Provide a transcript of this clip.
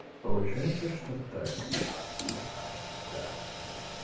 получается что так да